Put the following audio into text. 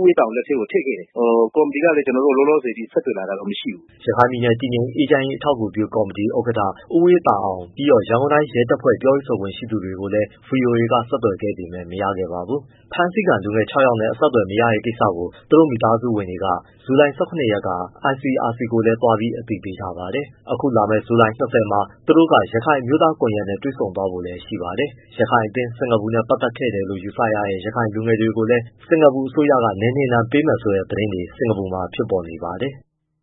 အေးသာအောင် လက်ထဲကိုထည့်ခဲ့တယ်။ ကော်မတီကလည်း လောလောဆယ် ကျနော်တို့ကို ဆက်သွယ်လာတာတော့ မရှိဘူး။” ရခိုင်ပြည်နယ်တည်ငြိမ်အေးချမ်းရေး အထောက်အကူပြုကော်မတီ ဥက္ကဋ္ဌ ဦအေးသာအောင်ပြီးတော့ ရန်ကုန်တိုင်း ရဲတပ်ဖွဲ့ ပြောရေးဆိုခွင့်ရှိသူတွေ ကိုလည်း ဗွီအိုအေက ဆက်သွယ်ခဲ့ပေမယ့် မရခဲ့ပါဘူး။ ဖမ်းဆီးခံလူငယ် ၆ယောက်နဲ့ အဆက်အသွယ်မရတဲ့ကိစ္စကို သူတို့မိသားစုဝင်တွေက ဇူလိုင် ၁၇ ရက်က ICRC ကိုလည်းသွားပြီး အသိပေးထားပါတယ်။ အခုလာမယ့် ဇူလိုင် ၂၀မှာ သူတို့က ရခိုင်အမျိုးသားကွန်ရက်နဲ့ တွေ့ဆုံ သွားဖို့လည်းရှိပါတယ်။ ရခိုင်အသင်း နဲ့ ပတ်သက်ခဲ့တယ်လို့ယူဆရတဲ့ ရခိုင်လူငယ် တွေကိုလည်း စင်ကာပူက နယ်နှင်ဒဏ်ပေးမယ်ဆိုတဲ့ သတင်းတွေ စင်ကာပူမှာဖြစ်နေပါတယ်။